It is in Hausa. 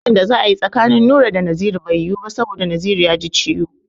Gudu da za a yi tsakanin Nura da Naziru bai yiwu ba saboda Naziru ya ji ciwo.